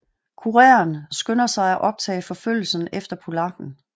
Kureren skynder sig at optage forfølgelsen efter polakken